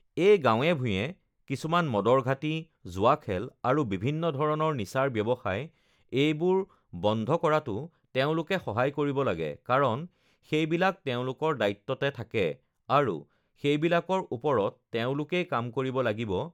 এই গাওঁ-ভূঞে কিছুমান মদৰ ঘাটি, জুৱা খেল আৰু বিভিন্ন ধৰণৰ নিচাৰ ব্যৱসায় এইবোৰ বন্ধ কৰাতো তেওঁলোকে সহায় কৰিব লাগে কাৰণ সেইবিলাক তেওঁলোকৰ দায়িত্বতে থাকে আৰু সেইবিলাকৰ ওপৰত তেওঁলোকেই কাম কৰিব লাগিব